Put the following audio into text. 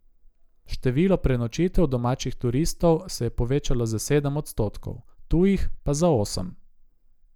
Število prenočitev domačih turistov se je povečalo za sedem odstotkov, tujih pa za osem.